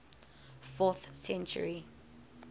fourth century